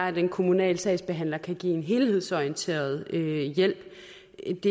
at den kommunale sagsbehandler kan give en helhedsorienteret hjælp